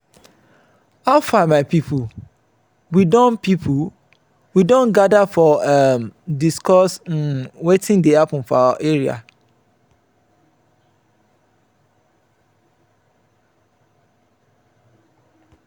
how far my people? we don people? we don gather to um discuss um wetin dey happen for our area.